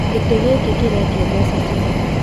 Gĩtĩ gĩkĩ kĩrendio mbeca cigana?